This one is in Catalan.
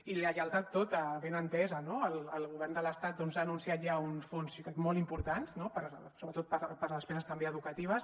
i lleialtat tota ben entesa no el govern de l’estat ha anunciat ja uns fons jo crec molt importants no sobretot per a despeses també educatives